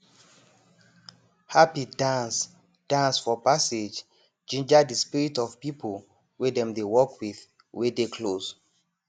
hapi dance dance for passage ginger de spirit of people wey dem dey work with wey dey close